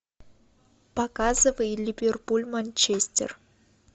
показывай ливерпуль манчестер